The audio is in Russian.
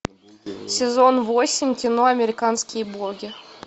сезон восемь кино американские боги